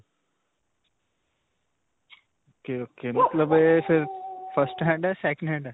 ok. ok. ਮਤਲਬ ਇਹ ਫਿਰ firsthand ਹੈ second hand ਹੈ?